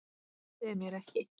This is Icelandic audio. Trúið þið mér ekki?